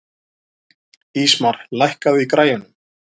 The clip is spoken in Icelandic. Ísmar, lækkaðu í græjunum.